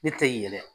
Ne tɛ yɛlɛ